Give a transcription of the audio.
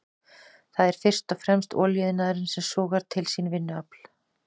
Það er fyrst og fremst olíuiðnaðurinn sem sogar til sín vinnuafl.